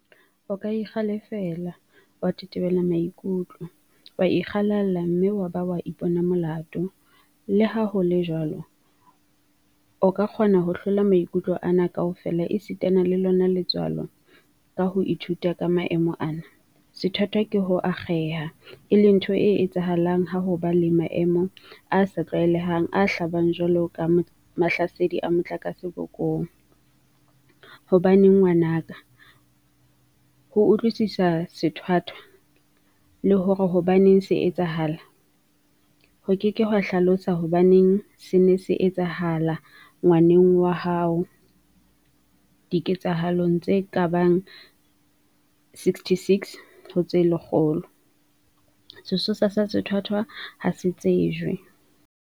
O ka ikgalefela, wa tetebela maikutlo, wa ikgalala mme wa ba wa ipona molato, leha ho le jwalo, o ka kgona ho hlola maikutlo ana kaofela esitana le lona letswalo ka ho ithuta ka maemo ana. Sethwathwa ke ho akgeha, e leng ntho e etsahalang ha ho ba le maemo a sa tlwaelehang a hlabang jwalo ka mahlasedi a motlakase bokong. Hobaneng ngwana ka? Ho utlwisisa sethwathwa, le hore hobaneng se etsahala, ho ke ke ha hlalosa hobaneng sena se etsahala ngwaneng wa hao diketsahalong tse ka bang tse 66 ho tse lekgolo, sesosa sa sethwathwa ha se tsejwe.